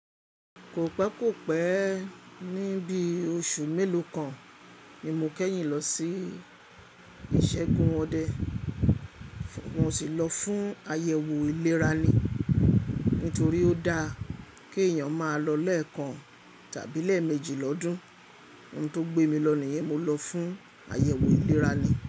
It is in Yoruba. Kò pẹ́, kò pẹ́, ní bí oṣù mélòó kan ni mo kẹ́yìn lọ sí ìṣẹ́gun wọn dé. Mo sì lọ fún àyẹ̀wò ìlera ni. Nítorí ó dáa kí èèyàn máa lọ lẹ́ẹ̀kan tàbí lẹ́ẹ̀mẹ́jì lọ́dún. Òun tó gbé mi lọ nìyẹn mo lọ fún àyẹ̀wò ìlera ni.